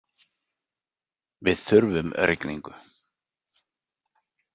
Við þurfum rigningu.